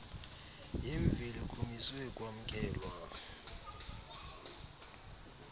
yemveli kumiswe kwamkelwa